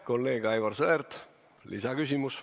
Kolleeg Aivar Sõerd, lisaküsimus.